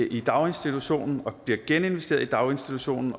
i daginstitutionen og bliver geninvesteret i daginstitutionen